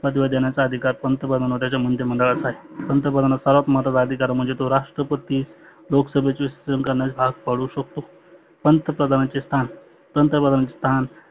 पदव्या देण्याचा अधिकार पंतप्रधान व त्यांच्या मंडळाचा आहे. पंतप्रधानाचा सर्वात महत्वाचा आधिकार म्हणजे तो राष्ट्रपती लोकसभेच्या वेळेस भाग पाडु शकतो. पंतप्रधानाचे स्थान पंतप्रधानाचे स्थान